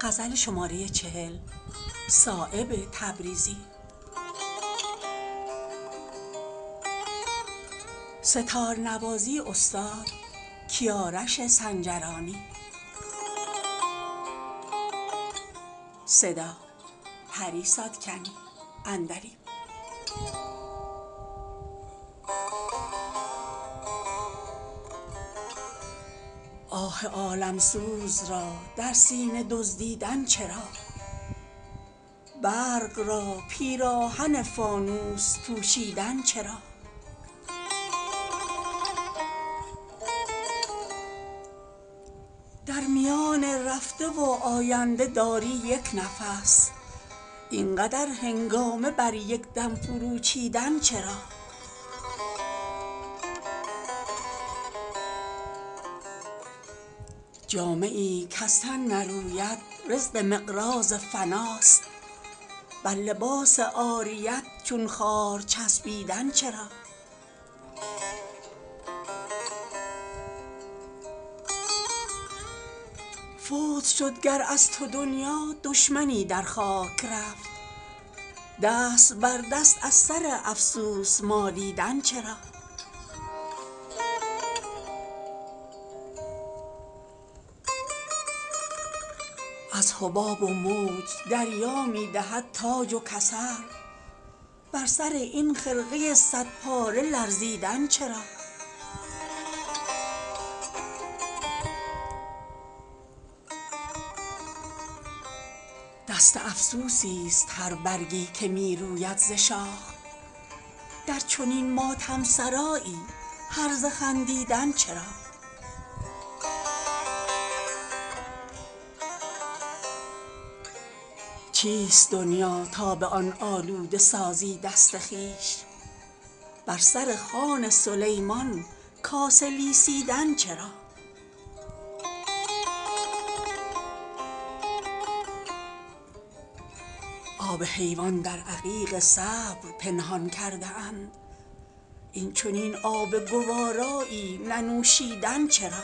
آه عالمسوز را در سینه دزدیدن چرا برق را پیراهن فانوس پوشیدن چرا در میان رفته و آینده داری یک نفس اینقدر هنگامه بر یک دم فرو چیدن چرا جامه ای کز تن نروید رزق مقراض فناست بر لباس عاریت چون خار چسبیدن چرا فوت شد گر از تو دنیا دشمنی در خاک رفت دست بر دست از سر افسوس مالیدن چرا از حباب و موج دریا می دهد تاج و کمر بر سر این خرقه صد پاره لرزیدن چرا دست افسوسی است هر برگی که می روید ز شاخ در چنین ماتم سرایی هرزه خندیدن چرا چیست دنیا تا به آن آلوده سازی دست خویش بر سر خوان سلیمان کاسه لیسیدن چرا آب حیوان در عقیق صبر پنهان کرده اند این چنین آب گوارایی ننوشیدن چرا